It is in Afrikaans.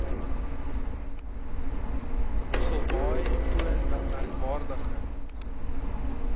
mosselbaai toon merkwaardige